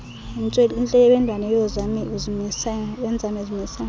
intlebendwane yoonzame uzimisele